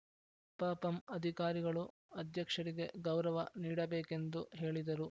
ಪಪಂ ಅಧಿಕಾರಿಗಳು ಅಧ್ಯಕ್ಷರಿಗೆ ಗೌರವ ನೀಡಬೇಕು ಎಂದು ಹೇಳಿದರು